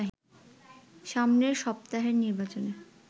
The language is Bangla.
সামনের সপ্তাহের নির্বাচনে